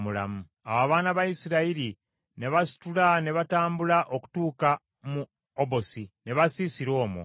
Awo abaana ba Isirayiri ne basitula ne batambula okutuuka mu Yebosi, ne basiisira omwo.